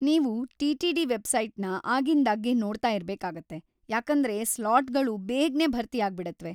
ನೀವು ಟಿ.ಟಿ.ಡಿ. ವೆಬ್ಸೈಟ್‌ನ ಆಗಿಂದಾಗ್ಗೆ ನೋಡ್ತಾ ಇರ್ಬೇಕಾಗುತ್ತೆ, ಯಾಕೇಂದ್ರೆ ಸ್ಲಾಟ್ಗಳು ಬೇಗ್ನೇ ಭರ್ತಿಯಾಗ್ಬಿಡತ್ವೆ.